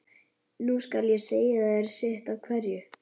Nú skal ég segja þér sitt af hverju.